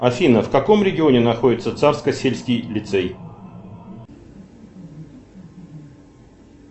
афина в каком регионе находится царскосельский лицей